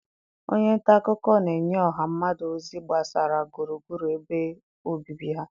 Onye nta akụkọ na-enye ọha mmadụ ozi gbasara gburugburu ebe obibi ha..